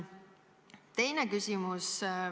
Teine küsimus.